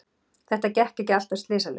Þetta gekk ekki alltaf slysalaust.